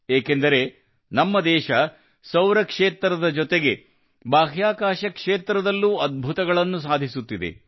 ಏಕೆಂದರೆ ನಮ್ಮ ದೇಶ ಸೌರ ಕ್ಷೇತ್ರದ ಜೊತೆಗೆ ಬಾಹ್ಯಾಕಾಶ ಕ್ಷೇತ್ರದಲ್ಲೂ ಅದ್ಭುತಗಳನ್ನು ಸಾಧಿಸುತ್ತಿದೆ